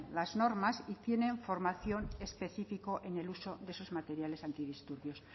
las normas y tienen formación específica en el uso de esos materiales antidisturbios